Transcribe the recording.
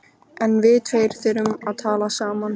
En við tveir þurfum að tala saman.